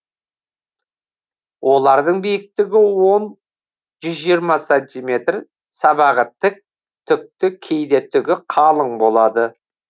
олардың биіктігі он жүз жиырма сантиметр сабағы тік түкті кейде түгі қалың болады